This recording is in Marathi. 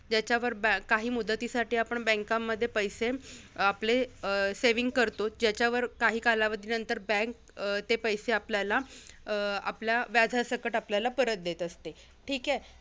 ज्याच्यावर बॅ काही मुदतीसाठी आपण banks मध्ये पैसे आपले अं saving करतो. ज्याच्यावर काही कालावधी नंतर bank अं ते पैसे आपल्याला अं आपल्या व्याजासकट आपल्याला परत देत असते. ठीक आहे?